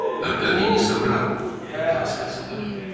Arkadiy ondan danışanda yalan danışmamışdı.